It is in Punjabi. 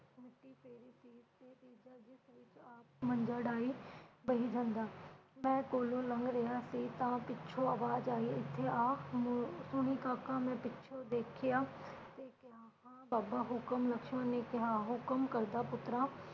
ਮੰਜਾ ਡਾਹੀ ਬਹੀ ਜਾਂਦਾ ਮੈਂ ਕੋਲੋ ਲੰਘ ਰਿਹਾ ਸੀ ਤਾਂ ਪਿਛੋਂ ਆਵਾਜ ਆਈ ਹਿਥੇ ਆ ਸੁਣੀ ਕਾਕਾ ਮੈਂ ਪਿਛੋਂ ਦੇਖਿਆ ਤੇ ਕਿਹਾ ਹਾ ਬਾਬਾ ਹੁਕਮ ਲਕਸ਼ਮਣ ਨੇ ਕਿਹਾ ਹੁਕਮ ਕਰਦਾ ਪੁੱਤਰਾ